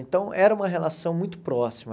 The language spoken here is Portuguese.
Então, era uma relação muito próxima.